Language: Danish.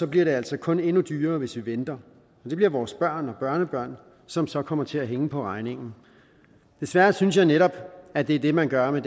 bliver det altså kun endnu dyrere hvis vi venter og det bliver vores børn og børnebørn som så kommer til at hænge på regningen desværre synes jeg netop at det er det man gør med